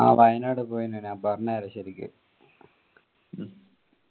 ആ വയനാട് പോയ്ന് ഞാൻ പറഞെര ശെരിക്കു